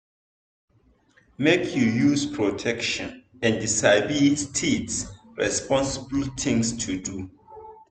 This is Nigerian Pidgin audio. make you use protection and sabi stiits responsible things to do